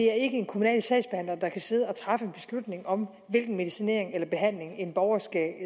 er en kommunal sagsbehandler der kan sidde og træffe beslutning om hvilken medicinering eller behandling en borger